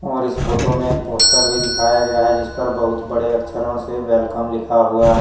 और इस फोटो में एक पोस्टर भी दिखाया गया हैं जिस पर बहुत बड़े अक्षरों से वेलकम लिखा हुआ हैं।